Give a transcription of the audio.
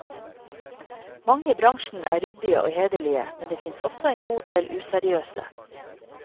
Mange i bransjen er ryddige og hederlige, men det finnes også en god del useriøse.